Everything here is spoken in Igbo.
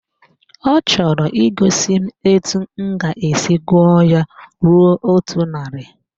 Ọ chọrọ igosi m etu m ga-esi gụọ ya ruo otu narị